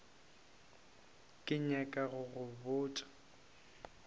ke nyaka go go botša